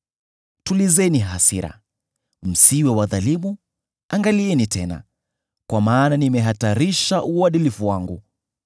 Tulizeni hasira, msiwe wadhalimu; angalieni tena, kwa maana nimehatarisha uadilifu wangu.